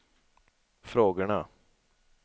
frågorna